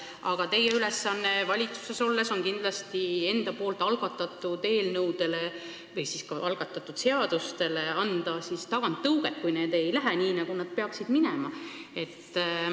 Aga teie ülesanne valitsuses on kindlasti enda algatatud eelnõudele või ka seadustele anda taganttõuget, kui need ei lähe nii, nagu need peaksid minema.